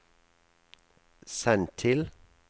send til